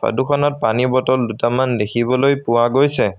ফটোখনত পানী বটল দুটামান দেখিবলৈ পোৱা গৈছে।